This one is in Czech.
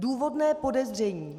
Důvodné podezření.